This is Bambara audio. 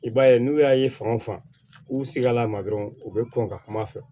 I b'a ye n'u y'a ye fan o fan u sigila a ma dɔrɔn u bɛ kɔn ka kum'a fɛ